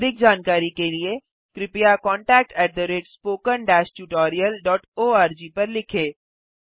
अधिक जानकारी के लिए कृपया contactspoken tutorialorg पर लिखें